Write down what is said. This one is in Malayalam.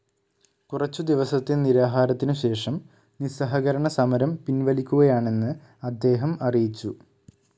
കുറച്ചു ദിവസത്തെ നിരാഹാരത്തിനുശേഷം നിസ്സഹകരണസമരം പിൻവലിക്കുകയാണെന്ന് അദ്ദേഹം അറിയിച്ചു.